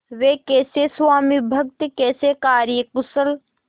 वे कैसे स्वामिभक्त कैसे कार्यकुशल